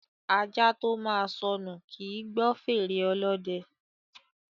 Ajá tó máa sọnù, kì í gbọ́ fèrè ọlọ́dẹ.